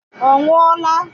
Ọ nwụọla?